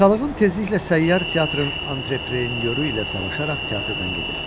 Atalığım tezliklə səyyar teatrın antreprenyoru ilə savaşaraq teatrdan gedir.